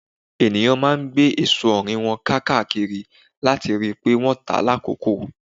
ènìyàn máa ń gbé èso orí wọn káàkiri láti rí pé wọ́n tá lákòókò.